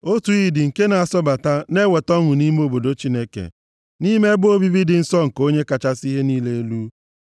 Otu iyi dị nke na-asọbata na-eweta ọṅụ nʼime obodo Chineke, nʼime ebe obibi dị nsọ nke Onye kachasị ihe niile elu.